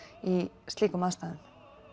í slíkum aðstæðum